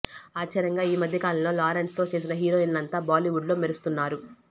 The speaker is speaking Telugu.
ఆశ్చర్యంగా ఈమధ్య కాలంలో లారెన్స్ తో చేసిన హీరోయిన్లంతా బాలీవుడ్ లో మెరుస్తున్నారు